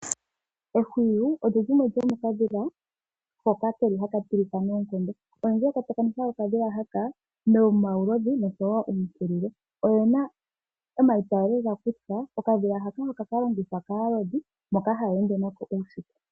Ehwiyu olyo limwe lyo mokadhila hoka ha ka tilika noonkondo, palundji ngele to tsakaneke oka dhila haka, nomaulodhi, osho woo oompulile. Oyena omaiyaalo ngeya kutya oka dhila haka oha ka lobgithwa kaalodhi, mboka ha ya ende nako uusiku.